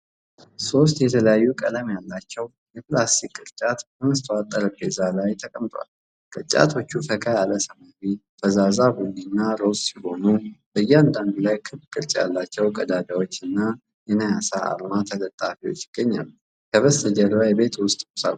ሦስት የተለያዩ ቀለም ያላቸው የፕላስቲክ ቅርጫቶች በመስታወት ጠረጴዛ ላይ ተቀምጠዋል። ቅርጫቶቹ ፈካ ያለ ሰማያዊ፣ ፈዛዛ ቡኒ እና ሮዝ ሲሆኑ፣ በእያንዳንዱ ላይ ክብ ቅርጽ ያላቸው ቀዳዳዎች እና የናያሳ አርማ ተለጣፊዎች ይገኛሉ፤ ከበስተጀርባ የቤት ውስጥ ቁሳቁሶች አሉ።